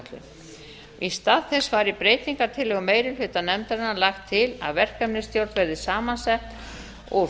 landsáætlun í stað þess væri í breytingartillögu meiri hluta nefndarinnar lagt til að verkefnisstjórn verði samansett úr